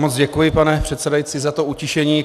Moc děkuji, pane předsedající, za to utišení.